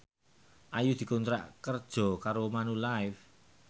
Ayu dikontrak kerja karo Manulife